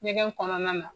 Ɲɛgɛn kɔnɔna na